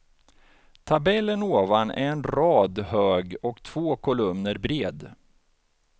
Tabellen ovan är en rad hög och två kolumner bred.